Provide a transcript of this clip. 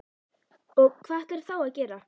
Og hvað ætlarðu þá að gera?